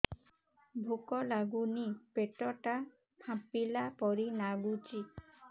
ଭୁକ ଲାଗୁନି ପେଟ ଟା ଫାମ୍ପିଲା ପରି ନାଗୁଚି